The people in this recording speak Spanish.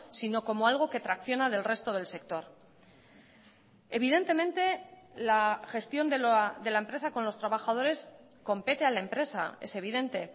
sino como algo que tracciona del resto del sector evidentemente la gestión de la empresa con los trabajadores compete a la empresa es evidente